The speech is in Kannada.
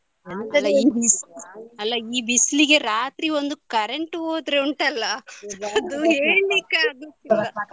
ಅಲ್ಲ ಈ ಬಿಸ್ಲಿಗೆ ರಾತ್ರಿ ಒಂದು current ಹೋದ್ರೆ ಉಂಟಲ್ಲ ಅದು ಹೇಳಿಕ್ಕೆ ಆಗುದಿಲ್ಲ.